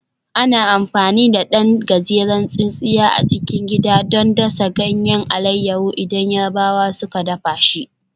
Ana amfani da ɗan gajeren tsintsiya a cikin gida don dasa ganyen alayyafo idan Yarabawa suka dafa shi